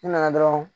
Ne nana dɔrɔn